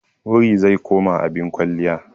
Wuri zai koma abin kwalliya.